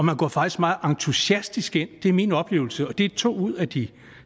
man går faktisk meget entusiastisk ind i det er min oplevelse og det er fra to ud af de